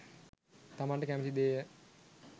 තමන්ට කැමති දේය.